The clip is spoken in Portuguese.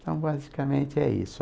Então basicamente é isso.